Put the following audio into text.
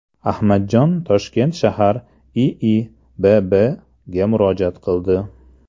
Ahmadjon Toshkent shahar IIBBga murojaat qildi.